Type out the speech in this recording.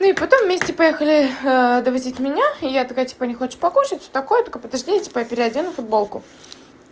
ну и потом вместе поехали довозить меня и я такая типа не хочешь покушать все такое только подожди я переодену футболку